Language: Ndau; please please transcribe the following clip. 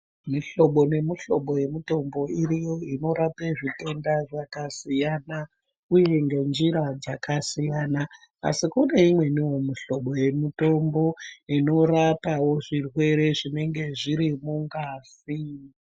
Mihlobo nemihlobo yemitombo iriyo inorape zvitenda zvakasiyana uye ngenjira dzakasiyana asi kune imweniwo mihlobo yemitombo inorapawo zvirwere zvinenge zviri mungazi.